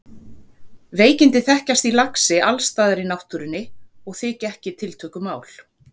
Veikindi þekkjast í laxi alls staðar í náttúrunni og þykja ekki tiltökumál.